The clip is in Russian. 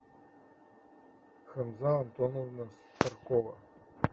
хамза антоновна старкова